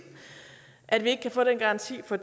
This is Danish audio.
at vi ikke kan få den garanti for